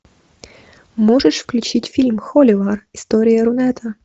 можешь включить фильм холивар история рунета